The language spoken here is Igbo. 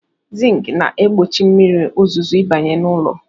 Zink na-egbochi mmiri ozuzo ịbanye n'ụlọ.